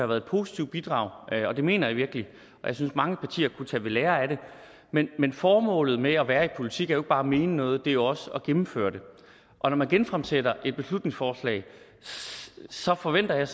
været et positivt bidrag og det mener jeg virkelig jeg synes at mange partier kunne tage ved lære af det men men formålet med at være i politik er jo ikke bare at mene noget det er jo også at gennemføre det og når man genfremsætter et beslutningsforslag forventer jeg